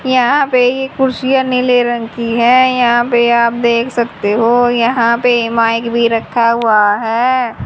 यहां पे ये कुर्सियां नीले रंग की है यहां पे आप देख सकते हो यहां पे माइक भी रखा हुआ है।